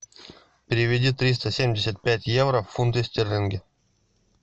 переведи триста семьдесят пять евро в фунты стерлинги